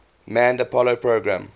manned apollo program